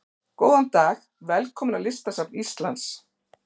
Góðan dag. Velkomin á Listasafn Íslands.